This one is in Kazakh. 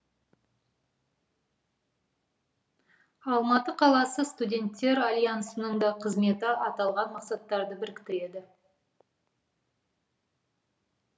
алматы қаласы студенттер алянсының да қызметі аталған мақсаттарды біріктіреді